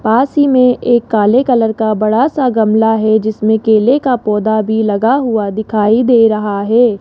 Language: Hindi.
पास ही में एक काले कलर का बड़ा सा गमला है जिसमें केले का पौधा भी लगा हुआ दिखाई दे रहा है।